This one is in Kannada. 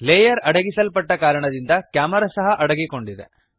ಲೇಯರ್ ಅಡಗಿಸಲ್ಪಟ್ಟ ಕಾರಣದಿಂದ ಕ್ಯಾಮೆರಾ ಸಹ ಅಡಗಿಕೊಂಡಿದೆ